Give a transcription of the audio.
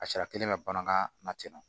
A sariya kelen bɛ bamanankan na ten nɔ